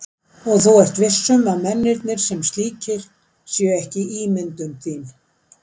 Og þú ert viss um að mennirnir. sem slíkir. séu ekki ímyndun þín?